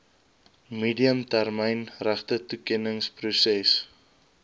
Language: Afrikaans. medium termyn regtetoekenningsproses